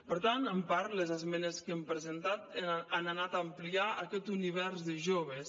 per tant en part les esmenes que hem presentat han anat a ampliar aquest univers de joves